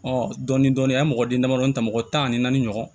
dɔɔnin-dɔɔnin an ye mɔgɔden damadamadɔ ta mɔgɔ tan ni naani ɲɔgɔn